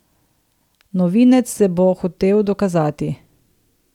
Novinec se bo hotel dokazati.